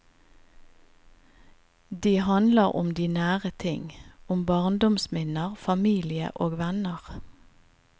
De handler om de nære ting, om barndomsminner, familie og venner.